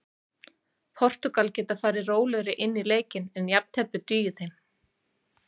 Portúgal geta farið rólegri inn í leikinn en jafntefli dugar þeim.